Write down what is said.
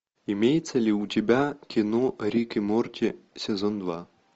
имеется ли у тебя кино рик и морти сезон два